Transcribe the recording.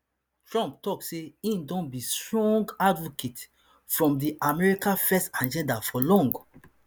tumpt tok say e don be strong strong advocate fr di america first agenda for long